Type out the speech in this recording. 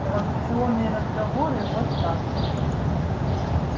провокационные разговоры вот как